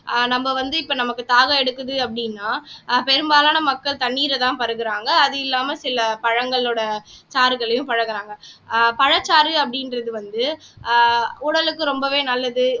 ஆஹ் நம்ம வந்து இப்ப நமக்கு தாகம் எடுக்குது அப்படின்னா ஆஹ் பெரும்பாலான மக்கள் தண்ணீரைதான் பருகுறாங்க அது இல்லாம சில பழங்களோட சாறுகளையும் பழகுறாங்க ஆஹ் பழச்சாறு அப்படின்றது வந்து ஆஹ் உடலுக்கு ரொம்பவே நல்லது